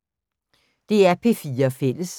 DR P4 Fælles